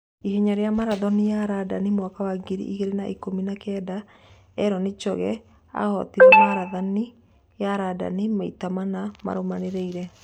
Ihenya rĩa Marathoni ya Randani mwaka wa ngiri igĩrĩ na-ikũmi na-kenda: Eli Choge ahootire marathoni ya Randani maita mana marũmanĩrĩire